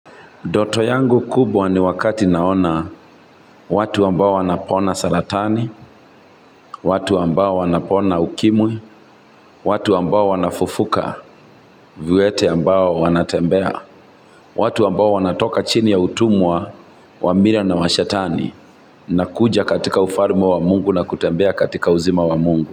Ndoto yangu kubwa ni wakati naona watu ambao wanapona saratani, watu ambao wanapona ukimwi, watu ambao wanafufuka, viwete ambao wanatembea, watu ambao wanatoka chini ya utumwa, wa nira na wa shetani, na kuja katika ufalme wa mungu na kutembea katika uzima wa mungu.